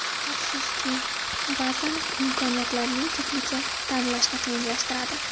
Afsuski, ba’zan imkoniyatlarning ko‘pligi tanlashni qiyinlashtiradi.